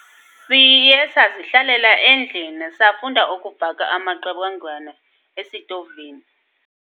Siye sazihlalela endlini, safunda ukubhaka amaqebengwana esitovini.